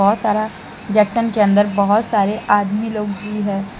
बहोत सारा जक्शन के अंदर बहोत सारे आदमी लोग भी है।